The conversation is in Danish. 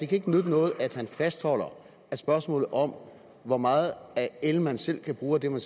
kan nytte noget at han fastholder at spørgsmålet om hvor meget el man selv kan bruge af den